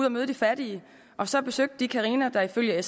at møde de fattige og så besøgte de carina der ifølge